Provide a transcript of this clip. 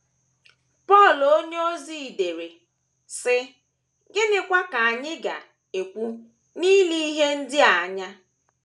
Pọl onyeozi dere, sị: “ Gịnịkwa ka anyị ga - ekwu n’ile ihe ndị a anya?